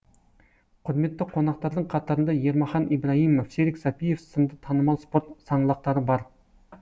құрметті қонақтардың қатарында ермахан ибраимов серік сәпиев сынды танымал спорт саңлақтары бар